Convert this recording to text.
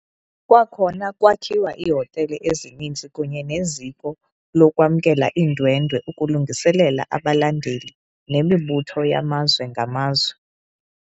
Kwakhona kwakhiwa iihotele ezininzi kunye neziko lokwamkelwa iindwendwe ukulungiselela abalandeli nemibutho yamazwe ngamazwe.